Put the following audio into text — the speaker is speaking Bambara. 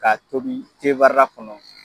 Ka tobi kɔnɔ.